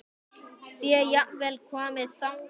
Sé jafnvel komið þangað!